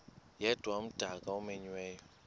yedwa umdaka omenyiweyo